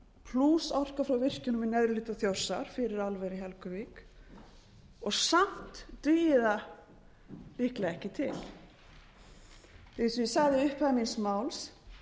plús orka frá virkjunum í neðri hluta þjórsár fyrir álver í helguvík samt dugi það líklega ekki til eins og ég sagði í upphafi míns máls